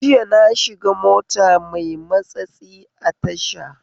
Jiya nashiga mota mai matsatsi a tasha